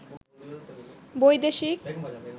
বৈদেশিক